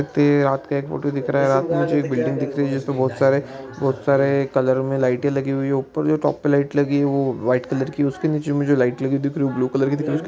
रात का एक फोटो दिख रहा है रात में जो यह बिल्डिंग दिख रही है बहुत सारे बहुत सारे कलर में लाइटे लगी हुई है ऊपर जो टॉप में लाइट लगी है वो वाइट कलर की है उसके नीचे जो लाइट लगी दिख रही है वो ब्लू कलर दिख रही है।